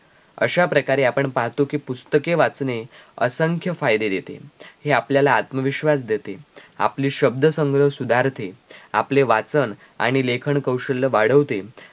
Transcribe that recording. अशा प्रकारे आपण पाहतो कि पुस्तके वाचणे असंख्य फायदे देते हे आपल्याला आत्मविश्वास देते आपले शब्द संग्रह सुधारते आपले वाचन आणि लेखन कौशल्य वाढवते